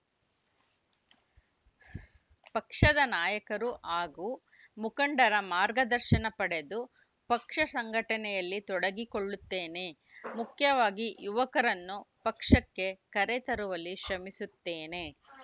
ಪಕ್ಷದ ನಾಯಕರು ಹಾಗೂ ಮುಖಂಡರ ಮಾರ್ಗದರ್ಶನ ಪಡೆದು ಪಕ್ಷ ಸಂಘಟನೆಯಲ್ಲಿ ತೊಡಗಿಕೊಳ್ಳುತ್ತೇನೆ ಮುಖ್ಯವಾಗಿ ಯುವಕರನ್ನು ಪಕ್ಷಕ್ಕೆ ಕರೆ ತರುವಲ್ಲಿ ಶ್ರಮಿಸುತ್ತೇನೆ